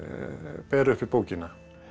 bera uppi bókina